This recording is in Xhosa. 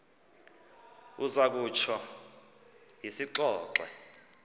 uza kutsho siyixoxe